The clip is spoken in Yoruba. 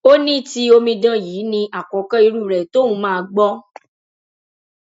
ó ní ti omidan yìí ní àkọkọ irú rẹ tóun máa gbọ